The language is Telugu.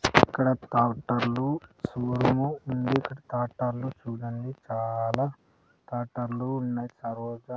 ఇక్కడ టాకుటర్లు సుమో ఉంది ఇక్కడ టాటర్లు చూడండి చాలా టాటర్లు ఉన్నాయి తర్వాత--